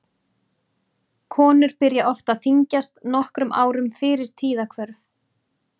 Konur byrja oft að þyngjast nokkrum árum fyrir tíðahvörf.